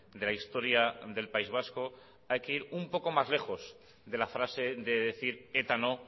de la historia del país vasco hay que ir un poco más lejos de la frase de decir eta no